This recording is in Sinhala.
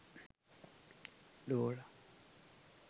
dora